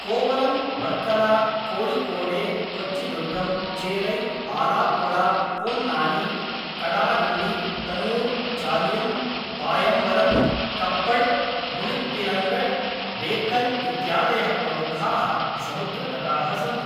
कोवलम्, वर्कला, कोळिकोडे, कोच्चिदुर्गम्, चेरै, आलाप्पुळा, पोन्नानी, कडालुण्डी, तनुर्, चालियम्, पायम्बलम्, कप्पड्, मुळिप्पिलङ्गड्, बेकल इत्यादयः प्रमुखाः समुद्रतटाः सन्ति।